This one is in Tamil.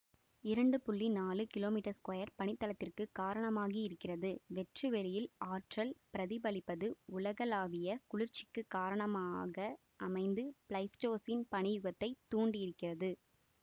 இரண்டு நாழு கிலோமீட்டர் ஸஃயர் பனித்தளத்திற்கு காரணமாகியிருக்கிறது வெற்று வெளியில் ஆற்றல் பிரதிபலிப்பது உலகளாவிய குளிர்ச்சிக்கு காரணமாக அமைந்து பிளைஸ்டோசின் பனி யுகத்தை தூண்டியிருக்கிறது